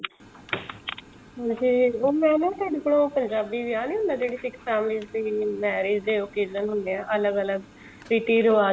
ਵੈਸੇ ਉਹ ਮੈਂ ਨਾ ਤੁਹਾਡੇ ਕੋਲੋਂ ਪੰਜਾਬੀ ਵਿਆਹ ਨਹੀਂ ਹੁੰਦਾ ਜਿਹੜੇ ਸਿੱਖ families ਦੀ marriage ਦੇ occasion ਹੁੰਦੇ ਨੇ ਅਲੱਗ ਅਲੱਗ ਰੀਤੀ ਰਿਵਾਜ